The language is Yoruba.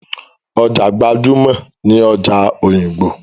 Ọjà gbajúmọ̀ ni ọjà òyìngbò.